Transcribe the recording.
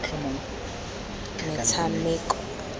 metshameko